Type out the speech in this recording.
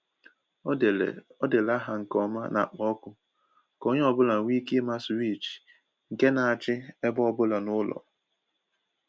O dere dere aha nke ọma n’akpa ọkụ ka onye ọbụla nwee ike ịma swịchị nke na-achị ebe ọ bụla n’ụlọ